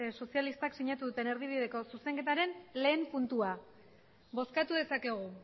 euskal sozialistak sinatu duten erdibideko zuzenketaren lehen puntua bozkatu dezakegu